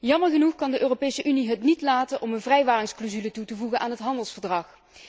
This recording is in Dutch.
Jammer genoeg kan de Europese Unie het niet laten om een vrijwaringsclausule toe te voegen aan het handelsverdrag.